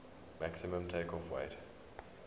maximum takeoff weight